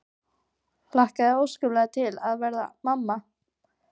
Hlakkaði óskaplega til að verða mamma.